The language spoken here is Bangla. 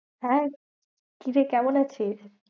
হ্যাঁ কিরে কেমন আছিস?